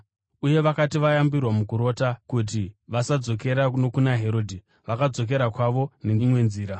Uye vakati vayambirwa mukurota kuti vasadzokera nokuna Herodhi, vakadzokera kwavo neimwe nzira.